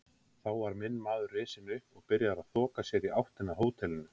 Þá var minn maður risinn upp og byrjaður að þoka sér í áttina að hótelinu.